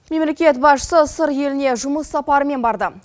мемлекет басшысы сыр еліне жұмыс сапарымен барды